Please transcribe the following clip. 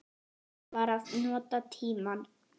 Ég var að nota tímann.